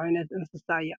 ዓይነት እንስሳ እያ፡፡